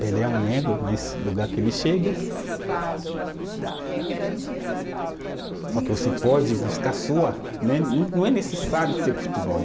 Pelé é um negro, mas o lugar que ele chega, só que você pode buscar sua, né, não, não é necessário ser